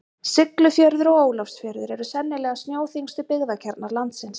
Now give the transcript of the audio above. Siglufjörður og Ólafsfjörður eru sennilega snjóþyngstu byggðakjarnar landsins.